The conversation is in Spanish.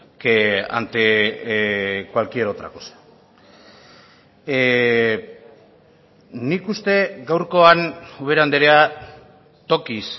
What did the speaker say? que ante cualquier otra cosa nik uste gaurkoan ubera andrea tokiz